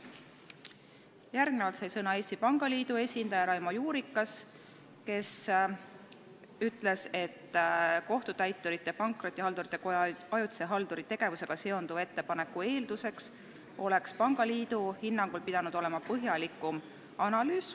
Järgnevalt sai sõna Eesti Pangaliidu esindaja Raimo Juurikas, kes ütles, et Kohtutäiturite ja Pankrotihaldurite Koja ajutise halduri tegevusega seonduva ettepaneku arvestamise eelduseks oleks pangaliidu hinnangul pidanud olema põhjalikum analüüs.